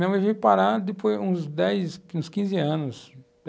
Minha mãe veio parar depois, uns dez, quinze anos.